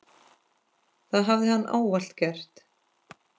Það hafi hann ávallt gert.